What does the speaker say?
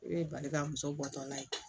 E ye bali ka muso bɔtɔ la ye